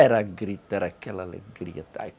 Era grito, era aquela alegria.